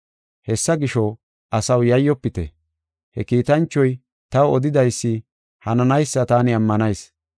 Hessa gisho, asaw, yayyofite. He kiitanchoy taw odidaysi hananaysa taani ammanayis.